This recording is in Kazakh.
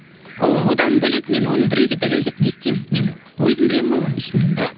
ол одан бөлек мен оны біреуге дәлелдеп не істеймін мені өзім білемін ғой оны ішімнен да